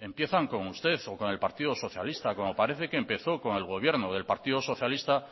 empiezan con usted o con el partido socialista como parece que empezó con el gobierno del partido socialista